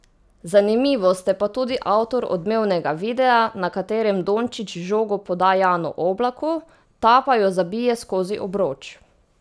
Zanimivo, ste pa tudi avtor odmevnega videa, na katerem Dončić žogo poda Janu Oblaku, ta pa jo zabije skozi obroč ...